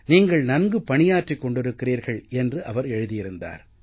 நீங்கள் நன்கு பணியாற்றிக் கொண்டிருக்கிறீர்கள் என்று அவர் எழுதியிருந்தார்